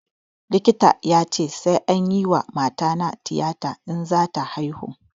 Likitan ya ce sai anyi wa matana tiyata in za ta haihu